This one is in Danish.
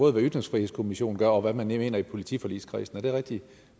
af hvad ytringsfrihedskommissionen gør og hvad man mener i politiforligskredsen er det rigtigt